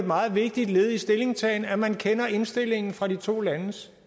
meget vigtigt led i stillingtagen at man kender indstillingen fra de to landes